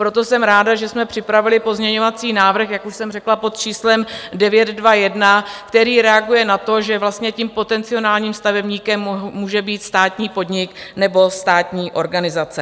Proto jsem ráda, že jsme připravili pozměňovací návrh, jak už jsem řekla, pod číslem 921, který reaguje na to, že vlastně tím potenciálním stavebníkem může být státní podnik nebo státní organizace.